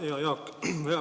Hea Jaak!